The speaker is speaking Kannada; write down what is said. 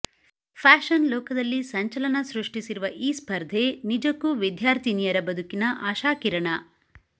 ಫ್ಯಾಷನ್ ಲೋಕದಲ್ಲಿ ಸಂಚಲನ ಸೃಷ್ಟಿಸಿರುವ ಈ ಸ್ಪರ್ಧೆ ನಿಜಕ್ಕೂ ವಿದ್ಯಾರ್ಥಿನಿಯರ ಬದುಕಿನ ಆಶಾಕಿರಣ